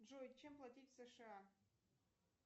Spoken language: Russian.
джой чем платить в сша